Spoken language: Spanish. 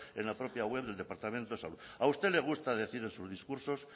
en la propia web del departamento de salud a usted le gusta decir en su discurso